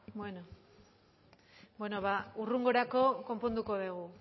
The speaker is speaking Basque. bueno ba hurrengorako konponduko dugu